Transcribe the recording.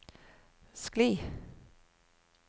skli